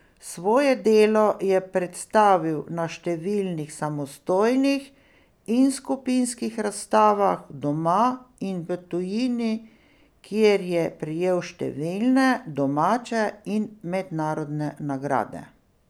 Svoje delo je predstavil na številnih samostojnih in skupinskih razstavah doma in v tujini, kjer je prejel številne domače in mednarodne nagrade.